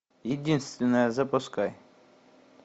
единственная запускай